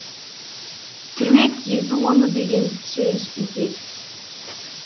түрме түзету орны деген сөз бекер